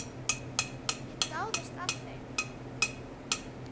Ég dáðist að þeim.